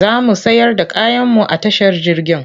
Za mu sayar da kayanmu a tashar jirgin.